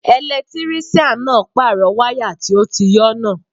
Ẹlẹtírísíàn náà pàrọ̀ wáyà tó ti yọ́ náà